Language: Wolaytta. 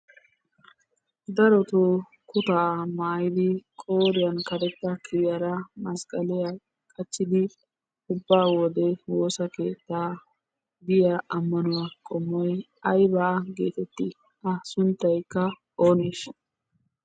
Darotoo kuttaa maattidi qooriyaan karetta kiriyaara masqqaliya qachchidi ubba wode woossa keetta biya ammanuwa qommoy aybba getetti? A sunttaykka ooneshsha?